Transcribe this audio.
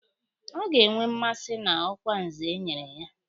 Ọ ga-enwe mmasị na ọkwa Nze e nyere ya